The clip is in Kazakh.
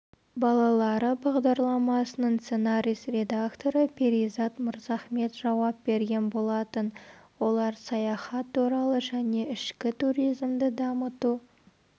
балалары бағдарламасының сценарист-редакторы перизат мырзахмет жауап берген болатын олар саяхат туралы және ішкі туризмді дамыту